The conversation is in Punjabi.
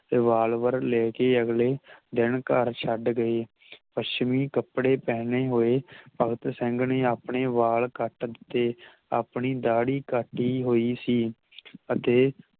revolver ਲੈਕੇ ਅਗਲੇ ਦਿਨ ਘਰ ਛੱਡ ਗਏ ਪਸ੍ਚਮਿ ਕਪੜੇ ਪਹਿਨੇ ਹੋਏ ਭਗਤ ਸਿੰਘ ਨੇ ਆਪਣੇ ਵੱਲ ਕੱਟ ਦਿੱਤੇ ਆਪਣੀ ਦਾਦੀ ਕੱਟੀ ਹੋਈ ਸੀ ਅਤੇ